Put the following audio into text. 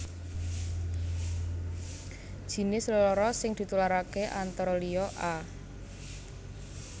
Jinis lelara sing ditularaké antara liya a